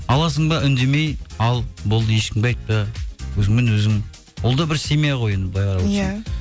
аласың ба үндемей ал болды ешкімге айтпа өзіңмен өзің ол да бір семья ғой енді былай қарап отырсаң иә